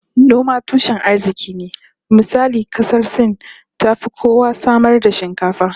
Noma tushen arziki ne, misali kasar Sin tafi kowa samar da shinkafa